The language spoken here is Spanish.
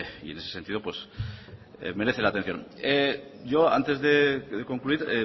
y en ese sentido merece la atención yo antes de concluir